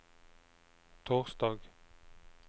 torsdag